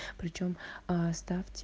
причём аа ставьте